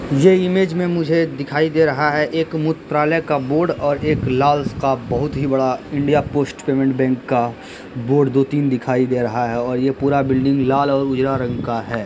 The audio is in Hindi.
ये इमेज में मुझे दिखाई दे रहा है एक मूत्रालय का बोर्ड और एक लाल स्क्रर्फ़ बहुत ही बड़ा इंडिया पोस्ट पेमेंट बैंक का बोर्ड दो तीन दिखाई दे रहा है और ये पूरा बिल्डिंग लाल और उजरा रंग का है।